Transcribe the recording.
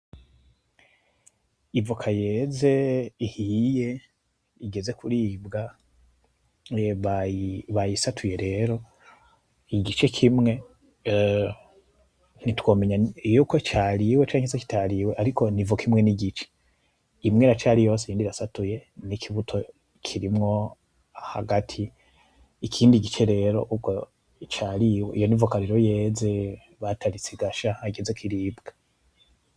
Ivoka yeze, ihiye, igeze kuribwa, bayisatuye rero, igice kimwe nitwomenya yuko cariwe canke kitariwe, ariko n'ivoka imwe n'igice, imwe iracari yose iyindi irasatuye n'ikibuto kirimwo hagati, ikindi gice rero ubwo cariwe, iyo n'ivoka rero yeze bataritse igasha hageze kwiribwa.